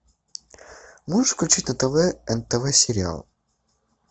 можешь включить на тв нтв сериал